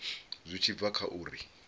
zwi tshi bva kha uri